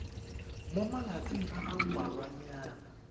mo malatsing a a mmalwanyana